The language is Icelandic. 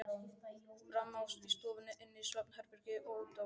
Frammi í stofunni, inni í svefnherberginu og úti á svölunum.